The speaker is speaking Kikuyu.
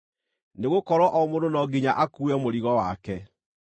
nĩgũkorwo o mũndũ no nginya akuue mũrigo wake.